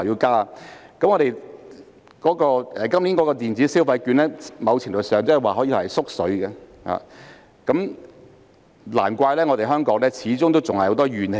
今年推出的電子消費券，在某程度上可說是"縮水"的措施，難怪香港始終還有很多怨氣。